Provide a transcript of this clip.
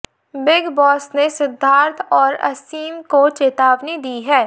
big Boss ने सिद्धार्थ और असीम को चेतावनी दी है